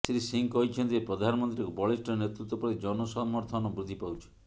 ଶ୍ରୀ ସିଂ କହିଛନ୍ତି ଯେ ପ୍ରଧାନମନ୍ତ୍ରୀଙ୍କ ବଳିଷ୍ଠ ନେତୃତ୍ୱ ପ୍ରତି ଜନସମର୍ଥନ ବୃଦ୍ଧି ପାଉଛି